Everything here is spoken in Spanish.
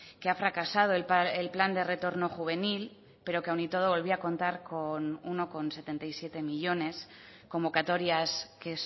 que ha fracasado el plan de retorno juvenil pero que aún y todo volvía a contar con uno coma setenta y siete millónes convocatorias que